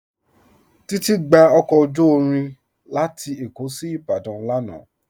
Titi gbà ọkọ ojú irin lati Ékó sí Ìbàdàn lánà.